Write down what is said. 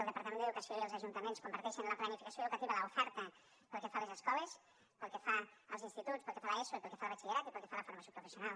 el departament d’educació i els ajuntaments comparteixen la planificació educativa l’oferta pel que fa a les escoles pel que fa als instituts pel que fa a l’eso i pel que fa al batxillerat i pel que fa a la formació professional